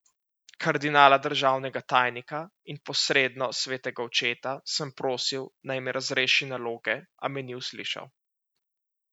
Kardinala državnega tajnika, in posredno svetega očeta, sem prosil, naj me razreši naloge, a me ni uslišal.